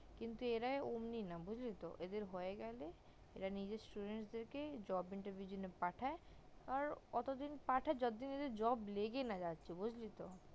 কিন্তু এরা অমনি না বুজলি তো এদের হয়ে গেলে এরা নিজের student দের কে job interview এর জন্য পাঠায় আর এতদিন পাঠায় যতদিন job লেগে না যাচ্ছে বুজলি তো